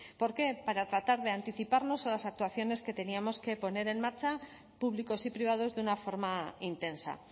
por qué para tratar de anticiparnos a las actuaciones que teníamos que poner en marcha públicos y privados de una forma intensa